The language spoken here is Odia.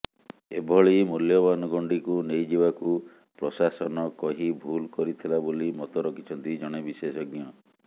ଏଭଳି ମୂଲ୍ୟବାନ ଗଣ୍ଡିକୁ ନେଇ ଯିବାକୁ ପ୍ରଶାସନ କହି ଭୁଲ କରିଥିଲା ବୋଲି ମତ ରଖିଛନ୍ତି ଜଣେ ବିଶେଷଜ୍ଞ